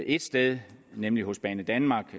et sted nemlig hos banedanmark